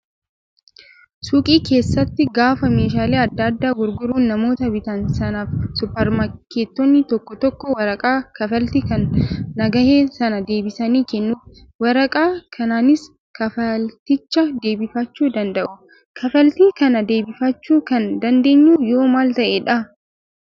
Suuqii keessatti gaafa meeshaalee adda addaa gurguran namoota bitan sanaaf suupparmaarkeetonni tokko tokko waraqaa kaffaltii kan nagahee sana deebisanii kennuuf. Waraqaa kanaanis kaffalticha deebifachuu danda'u. Kaffaltii kana deebifachuu kan dandeenyu yoo maal ta'edhaa?